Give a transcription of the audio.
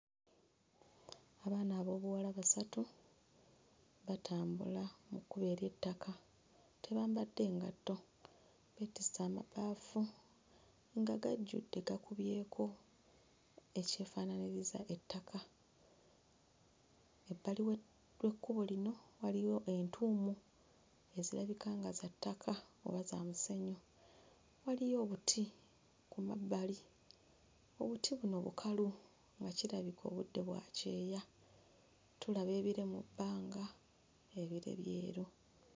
Abaana ab'obuwala basatu batambula mu kkubo ery'ettaka tebambadde ngatto beetisse amabaafu nga gajjudde gakubyeko ekyefaanaanyiriza ettaka. Ebbali w'ekkubo lino waliyo entuumu ezirabika nga za ttaka oba za musenyu. Waliyo obuti ku mabbali, obuti buno bukalu nga kirabika obudde bwa kyeya. Tulaba ebire mu bbanga ebire byeru.